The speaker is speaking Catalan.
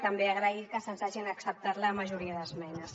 també agrair que se’ns hagin acceptat la majoria d’esmenes